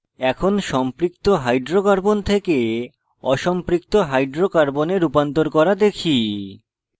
এখন সম্পৃক্ত hydrocarbons থেকে অসম্পৃক্ত hydrocarbons রূপান্তর করা দেখি